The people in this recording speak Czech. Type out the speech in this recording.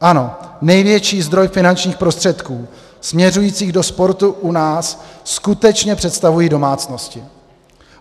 Ano, největší zdroj finančních prostředků směřujících do sportu u nás skutečně představují domácnosti.